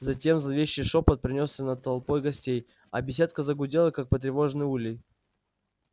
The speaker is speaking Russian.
затем зловещий шёпот пронёсся над толпой гостей а беседка загудела как потревоженный улей